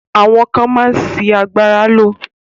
Àwọn ká máa sì àgbára ló.